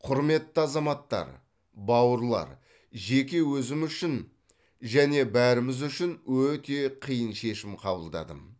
құрметті азаматтар бауырлар жеке өзім үшін және бәріміз үшін өте қиын шешім қабылдадым